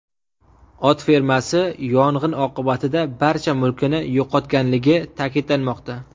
Ot fermasi yong‘in oqibatida barcha mulkini yo‘qotganligi ta’kidlanmoqda.